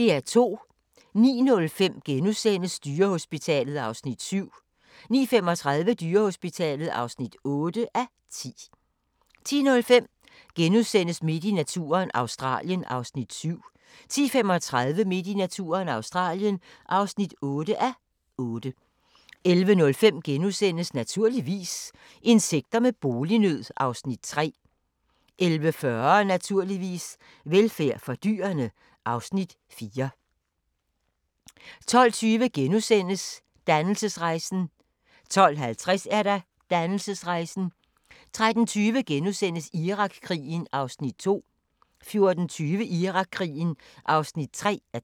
09:05: Dyrehospitalet (7:10)* 09:35: Dyrehospitalet (8:10) 10:05: Midt i naturen – Australien (7:8)* 10:35: Midt i naturen – Australien (8:8) 11:05: Naturligvis - insekter med bolignød (Afs. 3)* 11:40: Naturligvis - velfærd for dyrene (Afs. 4) 12:20: Dannelsesrejsen * 12:50: Dannelsesrejsen 13:20: Irakkrigen (2:3)* 14:20: Irakkrigen (3:3)